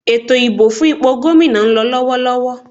Ètò ìbò fún ipò Gómìnà náà ń lọ lọ́wọ́lọ́wọ́